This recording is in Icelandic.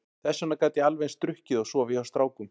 Þess vegna gat ég alveg eins drukkið og sofið hjá strákum.